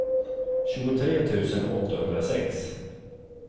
tjugotre tusen åttahundrasex